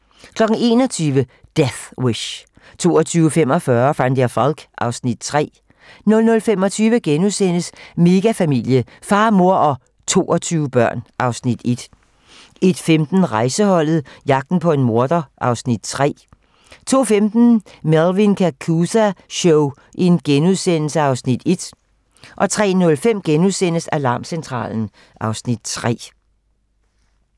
21:00: Death Wish 22:45: Van der Valk (Afs. 3) 00:25: Megafamilie - far, mor og 22 børn (Afs. 1)* 01:15: Rejseholdet - jagten på en morder (Afs. 3) 02:05: Melvin Kakooza Show (Afs. 1)* 03:05: Alarmcentralen (Afs. 3)*